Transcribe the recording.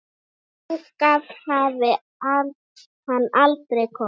Hingað hafi hann aldrei komið.